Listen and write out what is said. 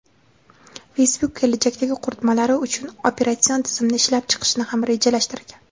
Facebook kelajakdagi qurilmalari uchun o‘z operatsion tizimini ishlab chiqishni ham rejalashtirgan.